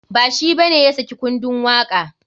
Ba shi bane ya saki kundun waka.